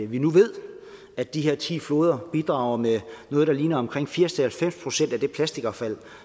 vi nu ved at de her ti floder bidrager med noget der ligner firs til halvfems procent af det plastikaffald